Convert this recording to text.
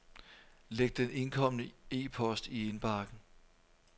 Læg den indkomne e-post i indbakken.